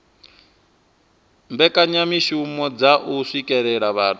mbekanyamishumo dza u swikelela vhathu